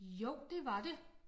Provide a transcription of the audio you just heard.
Jo det var det